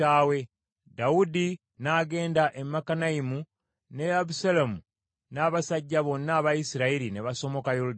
Dawudi n’agenda e Makanayimu, ne Abusaalomu n’abasajja bonna aba Isirayiri ne basomoka Yoludaani.